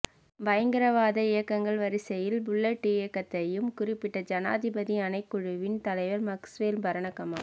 பயங்கரவாத இயக்கங்கள் வரிசையில் புளொட் இயக்கத்தையும் குறிப்பிட்ட ஜனாதிபதி ஆணைக்குழுவின் தலைவர் மக்ஸ்வெல் பரணகம